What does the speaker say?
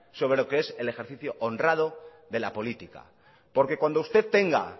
sobre lo que es el ejercicio honrado de la política porque cuando usted tenga